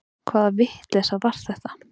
Hvaða vitleysa var þetta?